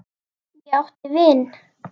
Ég átti vin.